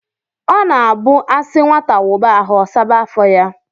ọ na-abụ a sị nwata wụba ahụ, ọ saba afọ ya